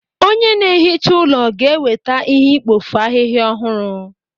Onye ná-ehicha ụlọ ga-eweta ihe ikpofu ahịhịa ọhụrụ.